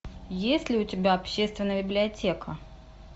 есть ли у тебя общественная библиотека